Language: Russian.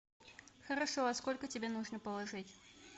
хорошо а сколько тебе нужно положить